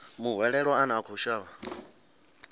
muhwelelwa ane a khou shavha